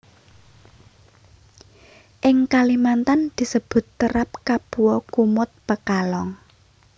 Ing Kalimantan disebut terap kapua kumut pekalong